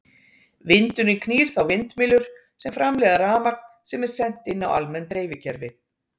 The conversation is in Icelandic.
Vindurinn knýr þá vindmyllur sem framleiða rafmagn sem er sent inn á almenn dreifikerfi.